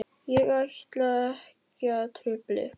Ég ætla ekki að trufla ykkur.